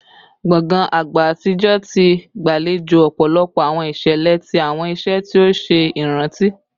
Gbongan agba atijọ ti gbalejo ọpọlọpọ awọn iṣẹlẹ ati awọn iṣe ti o ṣe iranti